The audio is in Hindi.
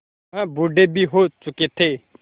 वह बूढ़े भी हो चुके थे